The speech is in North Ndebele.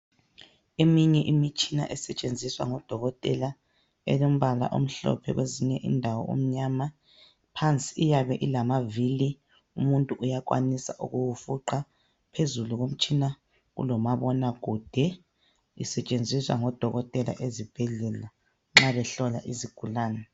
Eminye imitshina esetshenziswa ngodokotela. Elombala omhlophe, kwezinye indawo omnyama. Phansi, iyabe ilamavili. Umuntu uyakwanisa ukuwufuqa. Phezulu komtshina kulomabonakude, Usetshenziswa ngodokotela ezibhedlela nxa behlola izigulane.